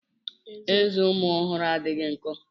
Ezé ụmụ ọhụrụ adịghị nkọ.